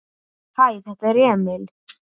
Hæ, þetta er Emil.